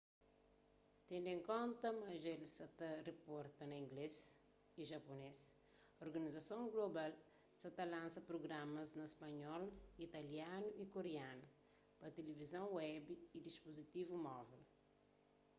tendu en konta ma dja el sa ta riporta na inglês y japunês organizason global sa ta lansa prugramas na spanhol italianu y koreanu pa tilivizon web y dispuzitivu móvel